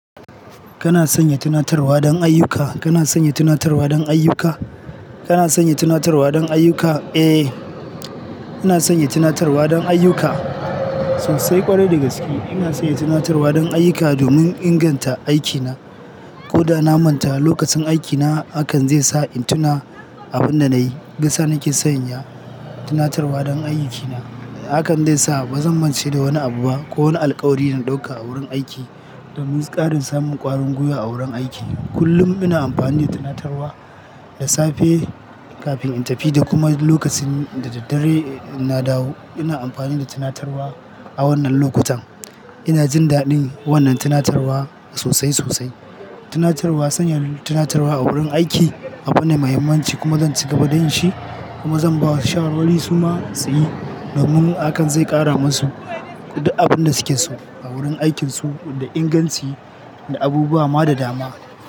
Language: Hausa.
Kana sanya tunatarwa don ayyuka, kana sanya tunatarwa don ayyuka, kana sanya tunatarwa don ayyuka? Eh, ina sanya tunatarwa don ayyuka sosai kwarai da gaskiya ina sanya tunatarwa don ayyuka domin inganta aikina. Ko da na manta lokacin aikina hakan zai sa in tuna abin da na yi. Shiyasa nake sanya tunatarwa don aikina. Hakan dai sa ba zan mance da wani abu ba ko wani alkawari dana ɗauka a wurin aiki domin ƙarin samun ƙwarin gwiwa a wurin aiki. Kullum ina amfani da tunatarwa da safe kafin in tafi da kuma lokacin da daddare na dawo ina amfani da tunatarwa a wannan lokutan. Ina jin daɗin wannan tunatarwa sosai sosai. Tunatarwa, sanya tunatarwa a wurin aiki abu ne muhimmanci kuma zan ci gaba da yin shi kuma zan ba shawarwari su ma su yi domin hakan zai ƙara masu abin da suke so a wurin aikinsu da inganci da abubuwa ma da dama.